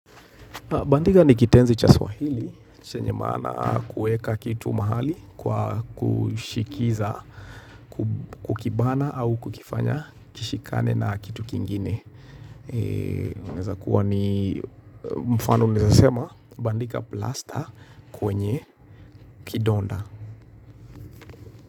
Bandika ni kitenzi cha swahili, chenye maana kuweka kitu mahali, kwa kushikiza, kukibana au kukifanya kishikane na kitu kingine. Inaweza kuwa ni mfano unaweza sema bandika plasta kwenye kidonda.